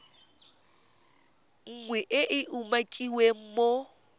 nngwe e e umakiwang mo